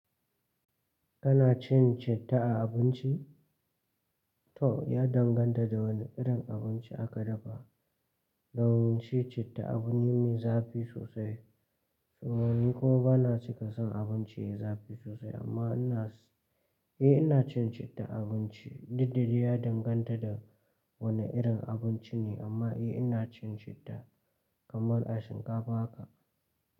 Kana cin citta a abinci? To ya danganta da wane irin abinci aka dafa, dan cin citta abu ne mai zafi sosai. Kuma ni kuma bana cika son abinci ya zafi sosai amma ina, eh ina cin citta a abinci. Duk da dai ya danganta da wane irin abinci ne amma eh ina cin citta kaman a shinkafa haka.